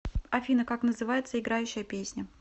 афина как называется играющая песня